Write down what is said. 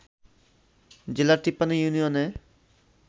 জেলার ৫৩ ইউনিয়নে